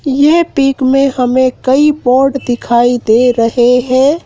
ये पिक में हमें कई बोर्ड दिखाई दे रहे हैं।